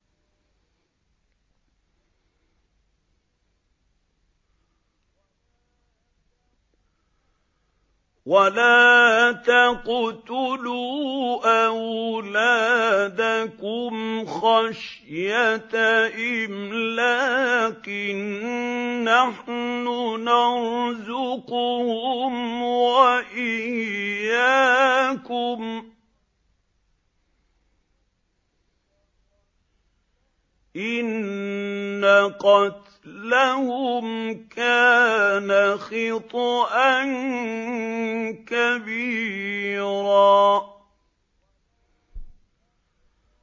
وَلَا تَقْتُلُوا أَوْلَادَكُمْ خَشْيَةَ إِمْلَاقٍ ۖ نَّحْنُ نَرْزُقُهُمْ وَإِيَّاكُمْ ۚ إِنَّ قَتْلَهُمْ كَانَ خِطْئًا كَبِيرًا